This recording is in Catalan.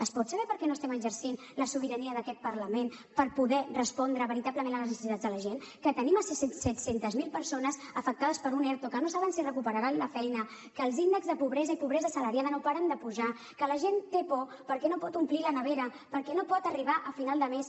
es pot saber perquè no estem exercint la sobirania d’aquest parlament per poder respondre veritablement a les necessitats de la gent que tenim set cents miler persones afectades per un erto que no saben si recuperaran la feina que els índexs de pobresa i pobresa assalariada no paren de pujar que la gent té por perquè no pot omplir la nevera perquè no pot arribar a final de mes